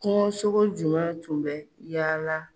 Kungosogo jumɛn tun bɛ yaala?